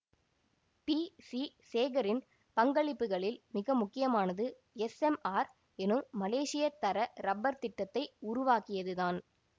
B C சேகரின் பங்களிப்புகளில் மிக முக்கியமானது எஸ்எம்ஆர் எனும் மலேசிய தர ரப்பர் திட்டத்தை உருவாக்கியது தான்